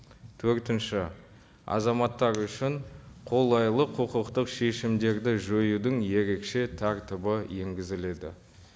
төртінші азаматтар үшін қолайлы құқықтық шешімдерді жоюдың ерекше тәртібі енгізіледі